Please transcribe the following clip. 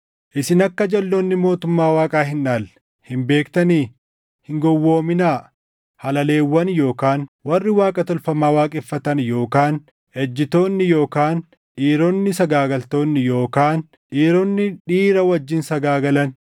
Isin akka jalʼoonni mootummaa Waaqaa hin dhaalle hin beektanii? Hin gowwoominaa: halaleewwan yookaan warri Waaqa tolfamaa waaqeffatan yookaan ejjitoonni yookaan dhiironni sagaagaltoonni yookaan dhiironni dhiira wajjin sagaagalan,